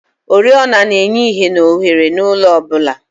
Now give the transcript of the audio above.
oriọna na-enye ìhè na ohere n'ụlọ ọ bụla.